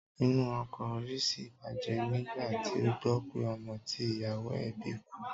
Inú ọkọ̀ Rísí bàjẹ́ nígbà tí ó gbọ́ pé ọmọ tí ìyàwó ẹ̀ bí kú